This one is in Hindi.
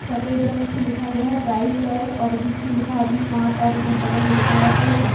सफ़ेद रंग से लिखा गया है। प्राइज़ लेस और बीच में लिखा है वी-मार्ट और इधर बगल में लिखा है फॅशन ।